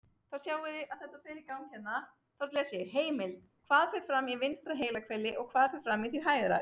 Heimild: Hvað fer fram í vinstra heilahveli og hvað fer fram í því hægra?